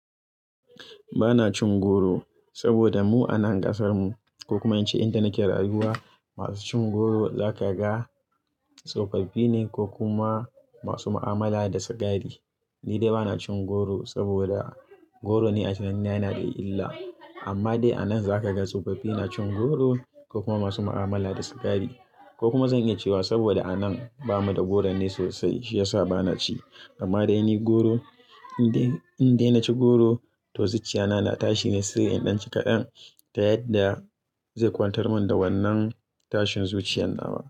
Ba na cin goro sabida mu a nan ƙasar mu, ko kuma ince inda nake rayuwa, masu cin goro zaka ga tsofaffi ne ko kuma masu mu'amala da sigari. Ni dai ba na cin goro sabida goron ni a tunanina yana da illa, amma dai a nan zaka ga tsofaffi na cin goro ko kuma masu mu'amala da sigari. Ko kuma zan iya cewa sabida a nan bamu da goron ne sosai, shi ya sa ba na ci. Amma dai ni goro, in dai, in dai na ci goro, to zuciya na, na tashi ne sai in ɗan ci kaɗan, ta yadda zai kwantar mun da wannan tashin zuciyan nawa.